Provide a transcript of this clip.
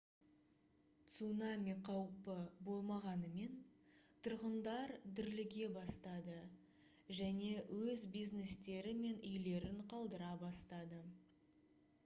цунами қаупі болмағанымен тұрғындар дүрліге бастады және өз бизнестері мен үйлерін қалдыра бастады